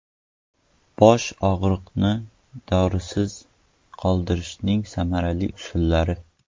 Bosh og‘rig‘ini dorisiz qoldirishning samarali usullari.